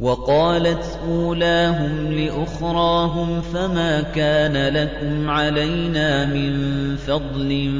وَقَالَتْ أُولَاهُمْ لِأُخْرَاهُمْ فَمَا كَانَ لَكُمْ عَلَيْنَا مِن فَضْلٍ